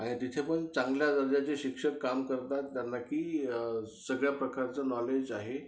आणि तिथे पण चांगल्या दर्जाचे शिक्षक काम करतात, जेणेकरून त्यांना की सगळ्या प्रकारचं नॉलेज जे आहे